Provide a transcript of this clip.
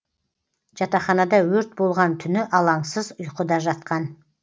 жатақханада өрт болған түні алаңсыз ұйқыда жатқан